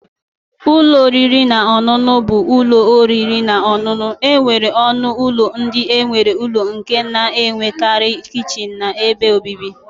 - Ụlọ oriri na ọṅụṅụ bụ ụlọ oriri na ọṅụṅụ nwere ọnụ ụlọ ndị nwere ụlọ nke na-enwekarị kichin na ebe obibi.